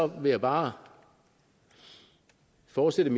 vil jeg bare fortsat